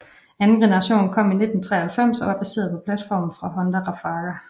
Anden generation kom i 1993 og var baseret på platformen fra Honda Rafaga